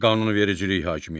Qanunvericilik hakimiyyəti.